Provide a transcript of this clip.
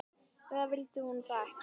Eða vildi hún það ekki?